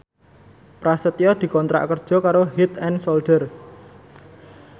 Prasetyo dikontrak kerja karo Head and Shoulder